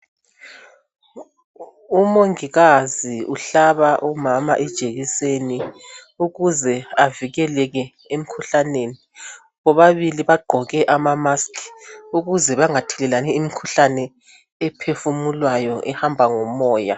Umongikazi uhlaba umama ijekiseni ,ukuze avikeleke emkhuhlaneni. Bobabili bagqoke ama mask ukuze bangathelelani imikhuhlani ephefumulwayo ehamba ngomoya.